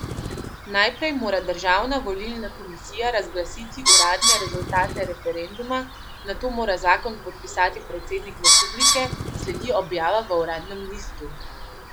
Najprej mora Državna volilna komisija razglasiti uradne rezultate referenduma, nato mora zakon podpisati predsednik republike, sledi objava v uradnem listu.